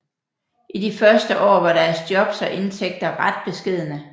I de første år var deres jobs og indtægter ret beskedne